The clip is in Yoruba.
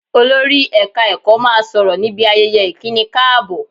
Olórí ẹ̀ka ẹ̀kọ́ máa sọ̀rọ̀ níbi ayẹyẹ ìkíni káàbọ̀